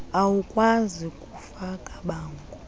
awukwazi kufaka bango